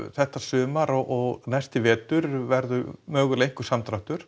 þetta sumar og næsti vetur verður samdráttur